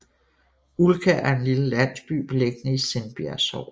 Ulkær er en lille landsby beliggende i Sindbjerg Sogn